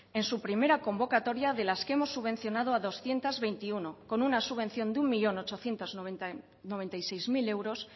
en su primera convocatoria de las que hemos subvencionado a doscientos veintiuno con una subvención de un millón ochocientos noventa y seis mil euros